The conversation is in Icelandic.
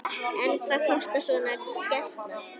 En hvað kostar svona gæsla?